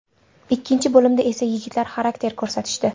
Ikkinchi bo‘limda esa yigitlar xarakter ko‘rsatishdi.